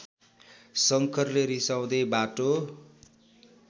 शङ्करले रिसाउँदै बाटो